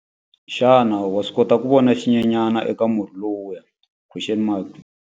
Xana wa swi kota ku vona xinyenyana eka murhi lowuya?